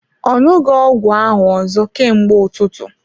Ọ ṅụghi ọgwụ ahụ ọzọ ka mgbe ụtụtụ.